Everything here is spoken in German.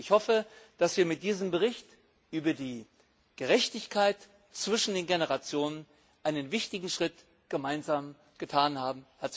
Ich hoffe, dass wir mit diesem Bericht über die Gerechtigkeit zwischen den Generationen einen wichtigen Schritt gemeinsam getan haben.